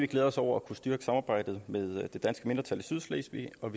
glæder os over at kunne styrke samarbejdet med det danske mindretal i sydslesvig og